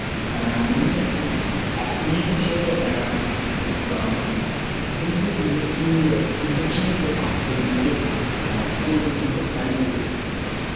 меніңше ііі біз ыыы біз де бізден кейінгі тіпті бізден кейінгі ұрпақтың өзінде де ііі тойымсыздық әлі күнге дейін бар сияқты